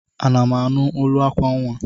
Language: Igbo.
Ana m anụ olu akwa nnwa?